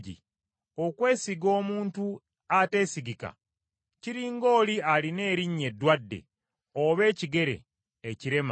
Okwesiga omuntu ateesigika, kiri ng’oli alina erinnyo eddwadde oba ekigere ekirema.